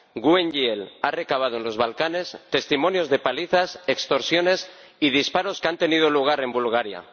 GUE NGL ha recabado en los Balcanes testimonios de palizas, extorsiones y disparos que han tenido lugar en Bulgaria.